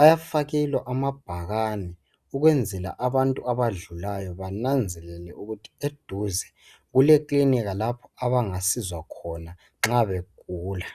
eyafakelwa ama bhakana ukuyenzelwa abantu abadlulayo bananzelele ukuba eduze kule klinika lapha abangathola usizo khona nxabe gula.